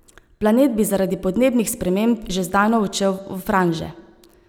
Planet bi zaradi podnebnih sprememb že zdavnaj odšel v franže.